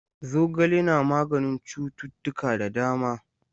Zogale na maganin cuttutuka da dama.